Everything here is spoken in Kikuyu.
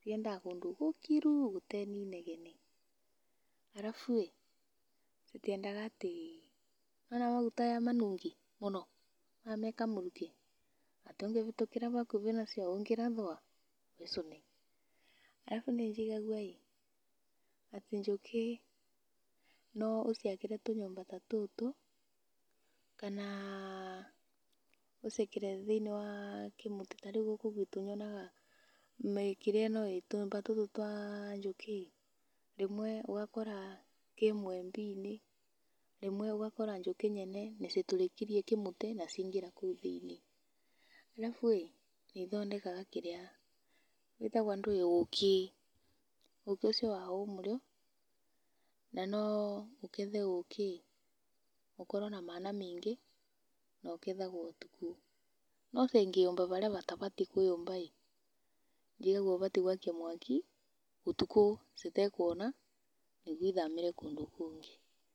ciendaga kũndũ gũkiru gũte ninegene alafu ĩĩ citĩendaga atĩ nĩ wona maguta aya manungi mũno aya mekamũrukĩ atĩ ũngĩbĩtũkĩra bakubĩ nacio ũngĩrathwa wĩcũne alafu nĩ njigagua atĩ njũkĩ no ũciakĩre tũnyũmba ta tũtũ kana ũciakĩre thĩinĩ wa kĩmũtĩ ta rĩu gũkũ gwitũ nyonaga mĩkĩria ĩno ĩĩ tũnyũmba tũtũ twa njũkĩ rĩmwe ũgakora kĩ mũembe-inĩ, rĩmwe ũgakora njũkĩ nyene nĩcitũrĩkirie kĩmũtĩ na ciĩngĩra kũu thĩinĩ [cs[alafu ĩĩ nĩiothondekaga kĩrĩa..ĩtagwa ndũĩ? ũkĩ; ũkĩ ũcio wao ũmũrĩo na no ũkethe ũkĩ ĩĩ ũkorwo na mana maingi na ũkethagwo ũtukũ no cingĩũmba barĩa batabatiĩ kwĩyũmba ĩĩ njiguaga ũbatiĩ gwakia mwaki, ũtukũ citekwona nĩguo ithamĩre kũndũ kũngĩ